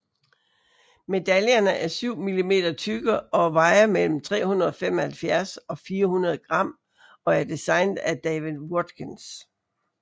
Medaljerne er syv millimeter tykke og vejer mellem 375 og 400 gram og er designet af David Watkins